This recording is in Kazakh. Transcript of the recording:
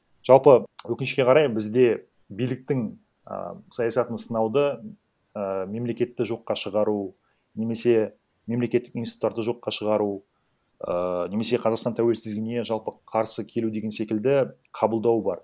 жалпы өкінішке қарай бізде биліктің а саясатын сынауды ііі мемлекетті жоққа шығару немесе мемлекеттік институттарды жоққа шығару ііі немесе қазақстан тәуелсіздігіне жалпы қарсы келу деген секілді қабылдау бар